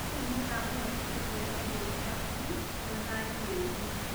Riri nirirakũhotithia kuoya irio ciaku na thayũ, wĩĩ wiki.